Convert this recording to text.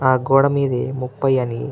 ఆ గోడ మీద ముపై అని --